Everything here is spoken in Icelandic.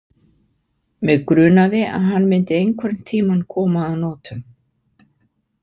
Mig grunaði að hann myndi einhvern tímann koma að notum